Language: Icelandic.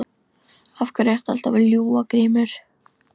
Af hverju ertu alltaf að ljúga Grímur?